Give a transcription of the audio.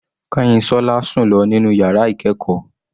Kanyinsola sùn lọ nínú yàrá ìkẹ́ẹ̀kọ́.